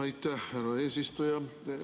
Aitäh, härra eesistuja!